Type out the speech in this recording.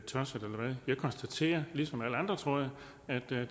jeg konstaterer ligesom alle andre tror jeg